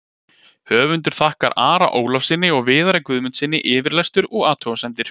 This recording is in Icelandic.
Höfundur þakkar Ara Ólafssyni og Viðari Guðmundssyni yfirlestur og athugasemdir.